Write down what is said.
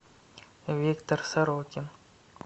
виктор сорокин